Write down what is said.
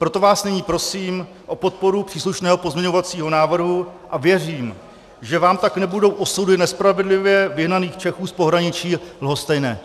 Proto vás nyní prosím o podporu příslušného pozměňovacího návrhu a věřím, že vám tak nebudou osudy nespravedlivě vyhnaných Čechů z pohraničí lhostejné.